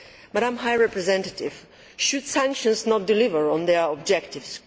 Madam High Representative, should sanctions not deliver on their objectives?